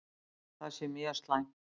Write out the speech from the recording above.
Það sé mjög slæmt.